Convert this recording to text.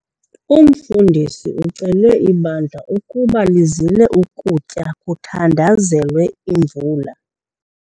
Umfundisi ucele ibandla ukuba lizile ukutya ukuze kuthandazelwe imvula.